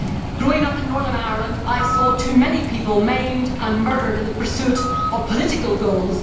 Growing up in Northern Ireland, I saw too many people maimed and murdered in the pursuit of political goals.